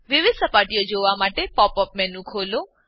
વિવિધ સપાટીઓ જોવા માટે પોપ અપ મેનુ ખોલો